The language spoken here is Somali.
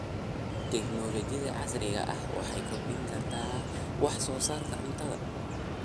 Tiknoolajiyada casriga ahi waxay kordhin kartaa wax soo saarka cuntada.